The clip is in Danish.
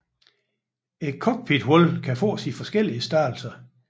Cockpithullet kan fås i forskellige størrelser